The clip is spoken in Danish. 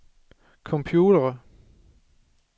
computere